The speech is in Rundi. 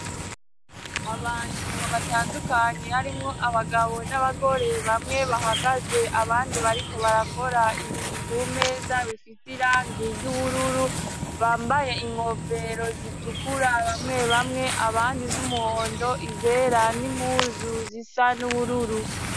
Abantu batandukanye harimwo abagabo n'abagore bamwe bahagaze abandi bariko barakora ibintu kumeza bifise irangi ry'ubururu bambaye inkofero zitukura bamwe bamwe abandi z'umuhondo izera n'impuzu zisa n'ubururu.